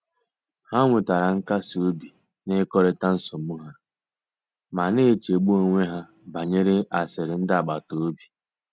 Ha nwetere nkasi obi n’ịkọrịta nsogbu ha, ma na-echegbu onwe ha banyere asịrị ndị agbata obi."